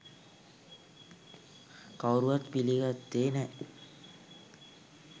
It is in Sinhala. කවුරුවත් පිළිගත්තේ නෑ.